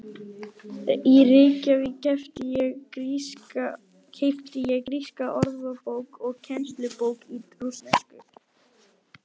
Í Reykjavík keypti ég gríska orðabók og kennslubók í rússnesku.